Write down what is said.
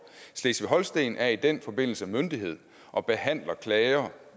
slesvig holsten er i den forbindelse myndighed og behandler